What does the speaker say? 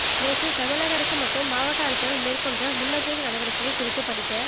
நேற்று தமிழக அரசு மற்றும் மாவட்ட அரசுகள் மேற்கொண்ட முன்னெச்சரிக்கை நடவடிக்கைகள் குறித்து படிக்க